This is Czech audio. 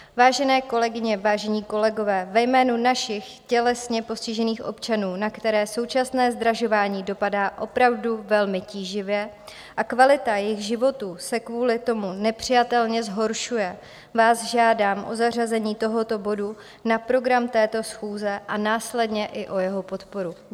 Vážené kolegyně, vážení kolegové, ve jménu našich tělesně postižených občanů, na které současné zdražování dopadá opravdu velmi tíživě a kvalita jejich životů se kvůli tomu nepřijatelně zhoršuje, vás žádám o zařazení tohoto bodu na program této schůze a následně i o jeho podporu.